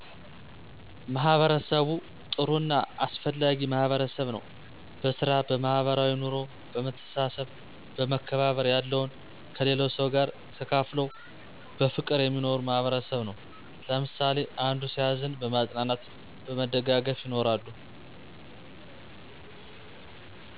ማህበርሰቡ ጥሩ እና አሰፍላጊ ማህበርሰብ ነው በሰራ በማህበራዊይ ኖሮ በመሰተሰሰብ በመከባባር ያለውን ከሊለው ሰው ጋር ተካፍለው በፍቅር የሚኖር ማህበርሰብ ነው። ለምሳሊ አንዶ ሲዝን በማፅናናት በመደጋገፍ ይኖራሉ።